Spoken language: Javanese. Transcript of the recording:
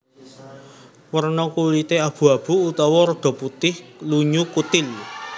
Werna kulité abu abu utawa rada putih lunyu kutil